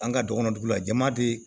An ka dɔgɔnɔ dugu la jama de